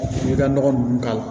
I bɛ ka nɔgɔ ninnu k'a la